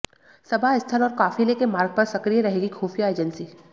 सभा स्थल और काफिले के मार्ग पर सक्रिय रहेंगी खुफिया एजेंसी